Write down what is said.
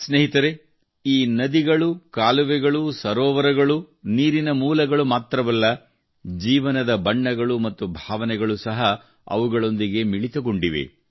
ಸ್ನೇಹಿತರೇ ಈ ನದಿಗಳು ಕಾಲುವೆಗಳು ಸರೋವರಗಳು ನೀರಿನ ಮೂಲಗಳು ಮಾತ್ರವಲ್ಲ ಜೀವನದ ಬಣ್ಣಗಳು ಮತ್ತು ಭಾವನೆಗಳು ಸಹ ಅವುಗಳೊಂದಿಗೆ ಮಿಳಿತವಾಗಿವೆ